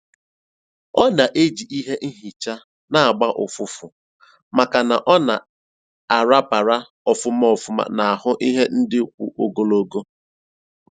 Ọ na-eji ihe nhicha na-agba ụfụfụ maka na ọ na a rapara ofuma ofuma n'ahụ ihe ndị kwụ ogologo